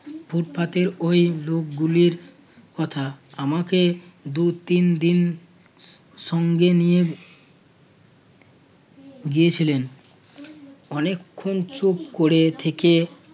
ফুটপাতের ওই লোকগুলির কথা আমাকে দু-তিনদিন সঙ্গে নিয়ে গিয়েছিলেন অনেকক্ষণ চুপ করে থেকে